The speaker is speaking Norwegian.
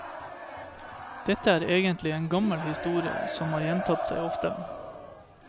Dette er egentlig en gammel historie, som har gjentatt seg ofte.